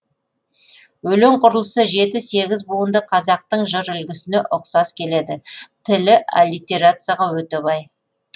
өлең құрылысы жеті сегіз буынды қазақтың жыр үлгісіне ұқсас келеді тілі аллитерацияға өте бай